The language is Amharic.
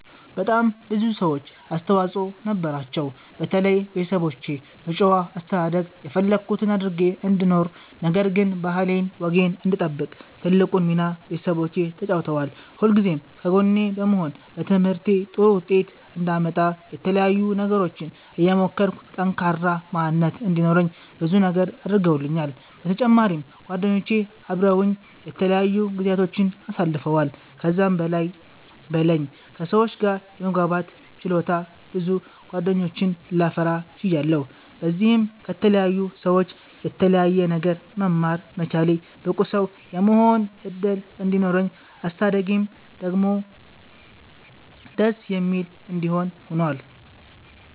በጣም ብዙ ሰዎች አስተዋፅኦ ነበራቸዉ። በተለይ ቤተሰቦቼ በጨዋ አስተዳደግ የፈለኩት አድርጌ እንድኖር ነገር ግን ባህሌን ወጌን እንድጠብቅ ትልቁን ሚና ቤተሰቦቼ ተጫዉተዋል። ሁልጊዜም ከጎኔ በመሆን በትምህርቴ ጥሩ ዉጤት አንዳመጣ የተለያዩ ነገሮችን እየሞከርኩ ጠንካራ ማንነት እንዲኖረኝ ብዙ ነገር አድርገዉልኛል። በተጫማሪም ጓደኞቼ አበረዉኝ የተለያዩ ጊዚያቶችን አሳልፈዋል። ከዛም በላይ በለኝ ከ ሰዎች ጋር የመግባባት ችሎታ ብዙ ጌደኞችን ላፈራ ችያለሁ። በዚህም ከተለያዩ ሰዎች የተለያየ ነገር መማር መቻሌ ብቁ ሰዉ የመሆን እድል እንዲኖረኝ አስተዳደጌም ደስ የሚል እንዲሆን ሁኗል።